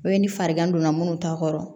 O ye ni farigan donna minnu ta kɔrɔ